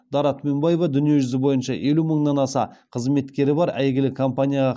дара түменбаева дүниежүзі бойынша елу мыңнан аса қызметкері бар әйгілі компанияға